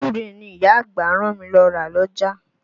Gbúre ni ìyá àgbà rán mi lọ́ ra l'ọ́jà.